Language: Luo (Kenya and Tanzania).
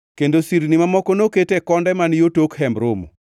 kendo sirni mamoko nokete e konde man yo tok Hemb Romo.